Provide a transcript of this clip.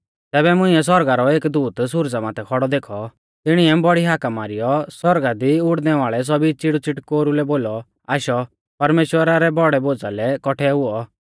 तैबै मुंइऐ सौरगा रौ एक दूत सुरजा माथै खौड़ौ देखौ तिणिऐ बौड़ी हाका मारीयौ आसमान दी उड़णैवाल़ै सौभी च़िड़ूच़ौटकेरु लै बोलौ आशौ परमेश्‍वरा रै बौड़ै भोज़ा लै कौठै हुऔ